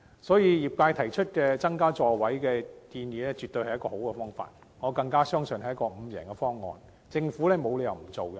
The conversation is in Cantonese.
所以，業界提出增加座位的建議絕對是一個好方法，我更相信這是一個"五贏方案"，政府沒有理由不接納。